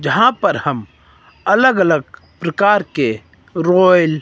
यहां पर हम अलग अलग प्रकार के रॉयल --